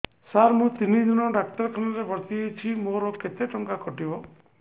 ସାର ମୁ ତିନି ଦିନ ଡାକ୍ତରଖାନା ରେ ଭର୍ତି ହେଇଛି ମୋର କେତେ ଟଙ୍କା କଟିବ